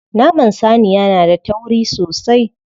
Naman saniya na da tauri sosai.